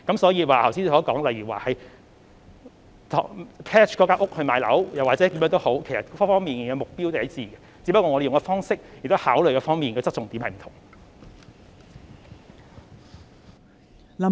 所以，剛才議員提到變賣物業套現等方法，目標也是一致的，只是我們使用的方式或考慮的側重點不同。